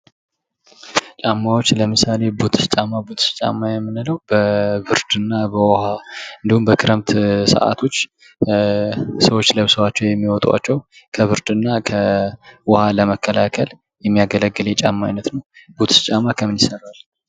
ጫማዎች ለምሳሌ፦ ቡትሽ ጫማ ቡትሽ ጫማ የምንለው በብርድ እና በውሀ እንዲሁም በክረምት ሰዓቶች ሰዎች ለብሰዋቸው የሚወጧቸው ከብርድ እና ከውሀ ለመከላከል የሚያገለግል የጫማ አይነት ነው። ቡትሽ ጫማ ከምን ይሰራል?